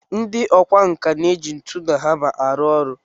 Ndị ọkwá nkà na-eji ntu na hama arụ ọrụ